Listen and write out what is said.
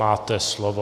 Máte slovo.